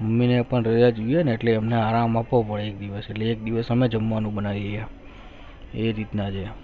mummy ને પણ રાજા દિયા ના એટલે આરામ માંખો પડે છે એક દિવસ હમને જમવાનું બનાયી ગયા એ રીતના રહ્યા